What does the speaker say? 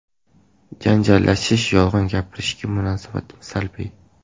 Janjallashish, yolg‘on gapirishga munosabatim salbiy.